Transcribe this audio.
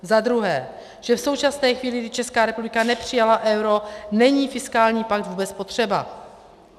Za druhé, že v současné chvíli, kdy Česká republika nepřijala euro, není fiskální pakt vůbec potřeba.